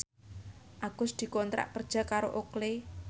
Agus dikontrak kerja karo Oakley